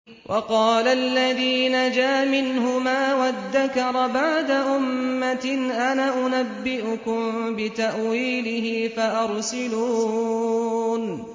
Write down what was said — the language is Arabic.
وَقَالَ الَّذِي نَجَا مِنْهُمَا وَادَّكَرَ بَعْدَ أُمَّةٍ أَنَا أُنَبِّئُكُم بِتَأْوِيلِهِ فَأَرْسِلُونِ